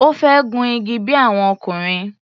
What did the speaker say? Ó fẹ́ gun igi bí i àwọn ọkùnrin.